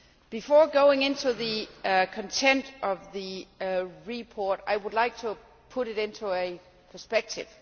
Before going into the content of the report, I would like to put it into perspective.